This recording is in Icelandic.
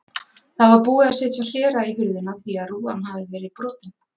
Það var búið að setja hlera í hurðina því að rúðan hafði verið brotin.